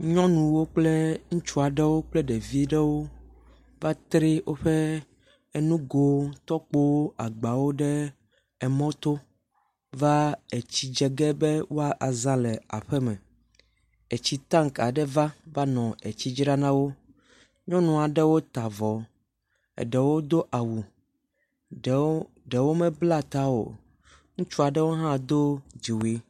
Nyɔnu kple ŋutsu aɖewo kple ɖevi ɖewo va tsri woƒe nugowo, tɔkpowo, agbawo ɖe mɔto va tsi dze ge be woazã le aƒeme. Etsi tank aɖe va nɔ etsi dzram na wo. Nyɔnu aɖewo ta avɔ, eɖewo do awu ɖewo ɖewo mebla ta o. Ŋutsu aɖewo hã do dziwui.